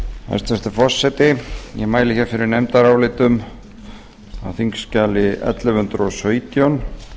hæstvirtur forseti ég mæli fyrir nefndarálitum á þingskjali ellefu hundruð og sautján